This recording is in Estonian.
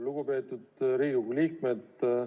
Lugupeetud Riigikogu liikmed!